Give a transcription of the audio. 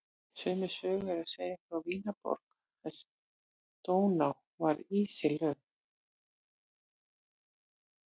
Sömu sögu er að segja frá Vínarborg þar sem Dóná var ísilögð.